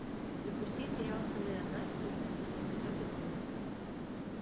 запустить сериал сыны анархии эпизод одиннадцать